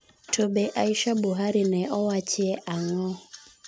To be Aisha Buhari ne owachie ang'o?